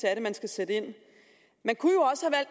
skal sætte ind man kunne